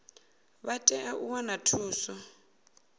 vha tea u wana thuso